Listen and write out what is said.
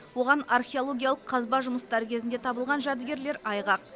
оған археологиялық қазба жұмыстары кезінде табылған жәдігерлер айғақ